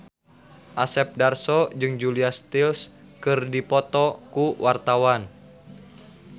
Asep Darso jeung Julia Stiles keur dipoto ku wartawan